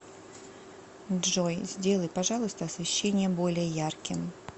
джой сделай пожалуйста освещение более ярким